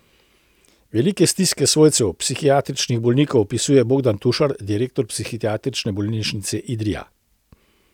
Velike stiske svojcev psihiatričnih bolnikov opisuje Bogdan Tušar, direktor Psihiatrične bolnišnice Idrija.